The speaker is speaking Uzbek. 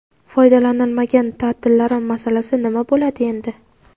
Foydalanilmagan taʼtillarim masalasi nima bo‘ladi endi?.